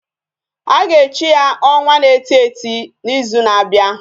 Aga echi ya onwa na eti eti na izu na abia?